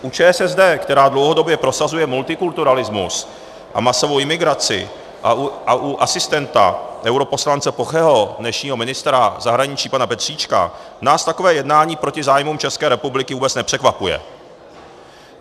U ČSSD, která dlouhodobě prosazuje multikulturalismus a masovou imigraci, a u asistenta europoslance Pocheho, dnešního ministra zahraničí pana Petříčka, nás takové jednání proti zájmům České republiky vůbec nepřekvapuje.